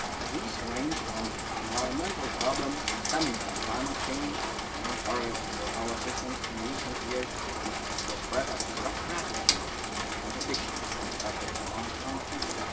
These range from environmental problems stemming from climate change the main target for our assistance in recent years to the spread of drug trafficking and addiction, especially among young people.